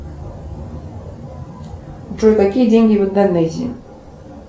джой какие деньги в индонезии